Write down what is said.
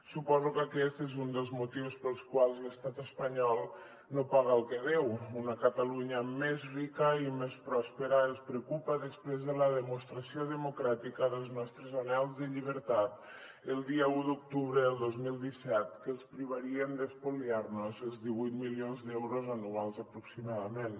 suposo que aquest és un dels motius pels quals l’estat espanyol no paga el que deu una catalunya més rica i més pròspera els preocupa després de la demostració democràtica dels nostres anhels de llibertat el dia un d’octubre del dos mil disset que els privarien d’espoliar nos els divuit milions d’euros anuals aproximadament